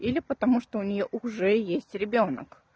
или потому что у неё уже есть ребёнок